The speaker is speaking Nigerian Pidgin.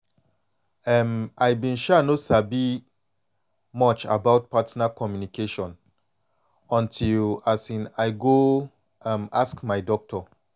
em i been um no sabi much about partner communication until um i go um ask my doctor